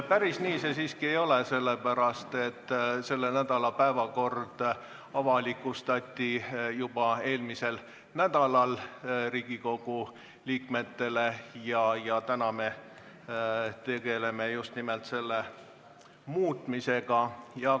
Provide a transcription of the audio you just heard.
Päris nii see siiski ei ole, sellepärast et selle nädala päevakord avalikustati Riigikogu liikmetele juba eelmisel nädalal ja täna me tegeleme just nimelt selle muutmisega.